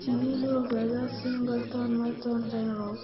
Sidee loo ogaadaa Singleton Merten syndrome?